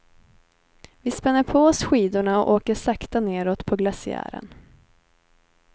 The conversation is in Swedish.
Vi spänner på oss skidorna och åker sakta neråt på glaciären.